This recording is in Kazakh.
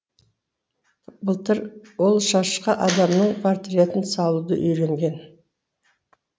былтыр ол шашқа адамның портретін салуды үйренген